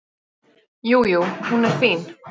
Jú, jú. hún er fín.